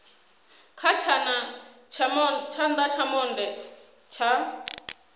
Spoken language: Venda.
kha tshana tsha monde tsha